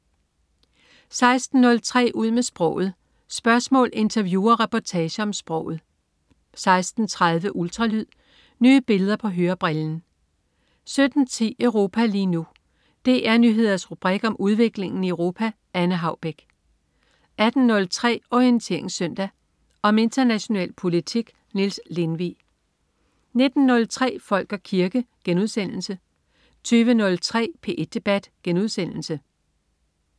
16.03 Ud med sproget. Spørgsmål, interview og reportager om sproget 16.30 Ultralyd. Nye billeder på hørebrillen 17.10 Europa lige nu. DR Nyheders rubrik om udviklingen i Europa. Anne Haubek 18.03 Orientering Søndag. Om international politik. Niels Lindvig 19.03 Folk og kirke* 20.03 P1 debat*